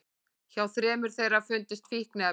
Hjá þremur þeirra fundust fíkniefni